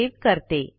save करते